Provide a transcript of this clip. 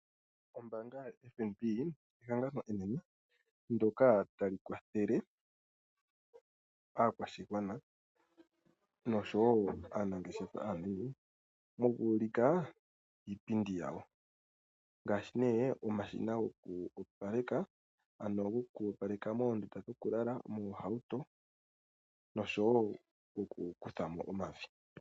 Ombaanga yaFNB ehangano enene ndyoka tali kwathele aakwashigwana noshowoo aanangeshefa mokuulika iipindi yawo ngaashi omashina gokoopaleka moondunda dhokulala, moohauto noshowoo okukuthamo omavi.